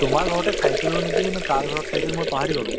তোমাৰ ঘৰতে খাইছিলো নেকি নে কাৰ ঘৰত খাইছিলো মই পাহৰি গʼলো